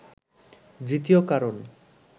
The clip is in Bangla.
দ্বিতীয় কারণ